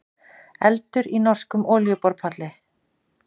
Eldur í norskum olíuborpalli